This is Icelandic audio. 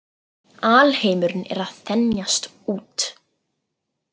Alheimurinn er að þenjast út.